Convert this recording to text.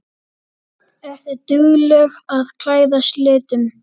Ertu dugleg að klæðast litum?